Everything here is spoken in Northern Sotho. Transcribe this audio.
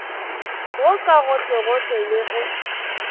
wo ka gohlegohle le ge